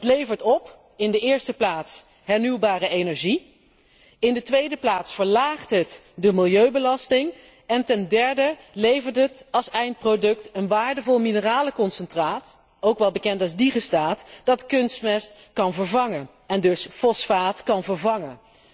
Dat levert in de eerste plaats hernieuwbare energie op, in de tweede plaats verlaagt het de milieubelasting en ten derde levert het als eindproduct een waardevol mineralenconcentraat op, ook wel bekend als digestaat, dat kunstmest, en dus fosfaat, kan vervangen.